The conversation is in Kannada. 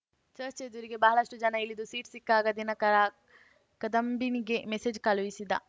ಚರ್ಚ್ ಎದುರಿಗೆ ಬಹಳಷ್ಟುಜನ ಇಳಿದು ಸೀಟ್‌ ಸಿಕ್ಕಾಗ ದಿನಕರ ಕದಂಬಿನಿಗೆ ಮೆಸೇಜ್‌ ಕಳುಹಿಸಿದ